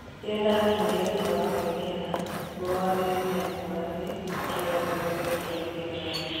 "Rĩrĩa ndakinyire thutha wa kwĩneana, mũrũgamĩrĩri nĩakũranire kĩheo gĩakwa gĩa gũtwarithia ngari.